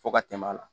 Fo ka tɛmɛ a la